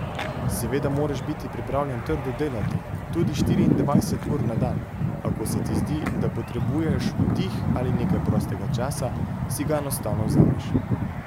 Seveda moraš biti pripravljen trdo delati, tudi štiriindvajset ur na dan, a ko se ti zdi, da potrebuješ oddih ali nekaj prostega časa, si ga enostavno vzameš.